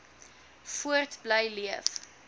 voort bly leef